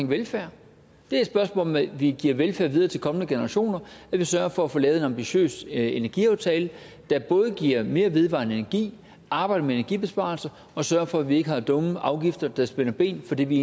velfærd det er et spørgsmål om at vi giver velfærd videre til kommende generationer at vi sørger for at få lavet en ambitiøs energiaftale der både giver mere vedvarende energi arbejder med energibesparelser og sørger for at vi ikke har dumme afgifter der spænder ben for det vi